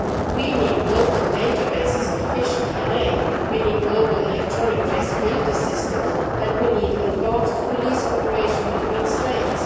We need global databases of fish DNA, we need global electronic traceability systems and we need advanced police cooperation between states.